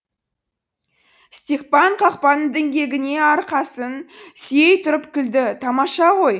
степан қақпаның діңгегіне арқасын сүйей тұрып күлді тамаша ғой